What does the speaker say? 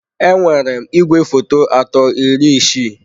Enwere m igwefoto atọ iri isii.